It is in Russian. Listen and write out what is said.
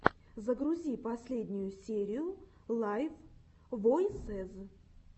загрузи последнюю серию лайв войсез